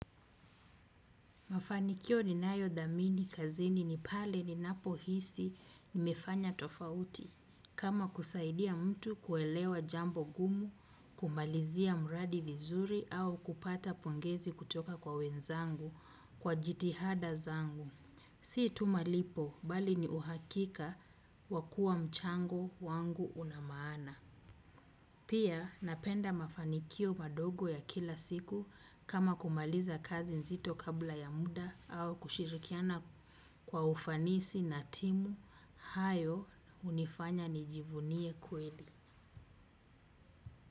Mafanikio ninayo dhamini kazini ni pale ninapo hisi nimefanya tofauti. Kama kusaidia mtu kuelewa jambo ngumu, kumalizia mradi vizuri au kupata pongezi kutoka kwa wenzangu kwa jitihada zangu. Si tu malipo, bali ni uhakika wa kuwa mchango wangu una maana. Pia napenda mafanikio madogo ya kila siku kama kumaliza kazi nzito kabla ya muda au kushirikiana kwa ufanisi na timu hayo hunifanya nijivunie kweli.